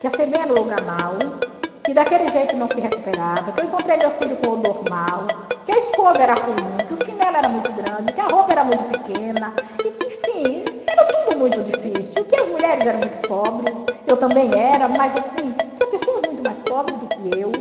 que a Febem era um lugar mau, que daquele jeito não se recuperava, que eu encontrei meu filho com odor mau, que a escova era ruim, que o chinelo era muito grande, que a roupa era muito pequena, e que, enfim, era tudo muito difícil, que as mulheres eram muito pobres, eu também era, mas, assim, tinha pessoas muito mais pobres do que eu.